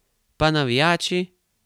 Pa navijači?